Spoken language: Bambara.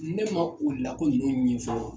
Ne man u min fɔ.